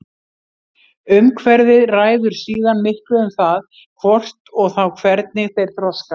Umhverfið ræður síðan miklu um það hvort og þá hvernig þeir þroskast.